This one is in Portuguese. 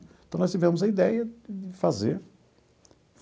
Então, nós tivemos a ideia de fazer.